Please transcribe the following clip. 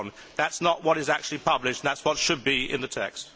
That is not what is actually published and that is what should be in the text.